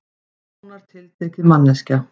Nánar tiltekið manneskja.